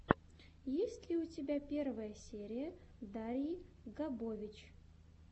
есть ли у тебя первая серия дарьи габович